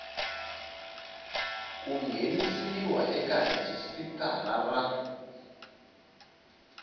ku nghenisiwa eka rhijisitara ra